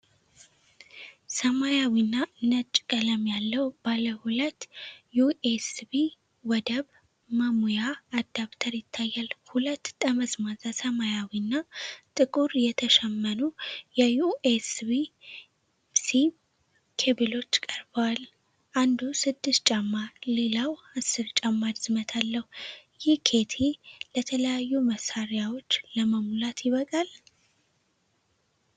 ሰማያዊና ነጭ ቀለም ያለው ባለሁለት ዩኤስቢ ወደብ መሙያ አዳፕተር ይታያል። ሁለት ጠመዝማዛ ሰማያዊና ጥቁር የተሸመኑ የዩኤስቢ-ሲ ኬብሎች ቀርበዋል፣ አንዱ 6 ጫማ ሌላው 10 ጫማ ርዝመት አለው። ይህ ኪት ለተለያዩ መሳሪያዎች ለመሙላት ይበቃል?